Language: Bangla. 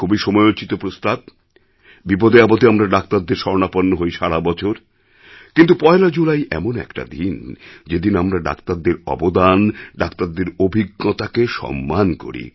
খুবই সময়োচিত প্রস্তাব বিপদেআপদে আমরা ডাক্তারদের শরণাপন্ন হই সারা বছর কিন্তু পয়লা জুলাই এমন একটা দিনযেদিন আমরা ডাক্তারদের অবদান ডাক্তারদের অভিজ্ঞতাকে সম্মান করি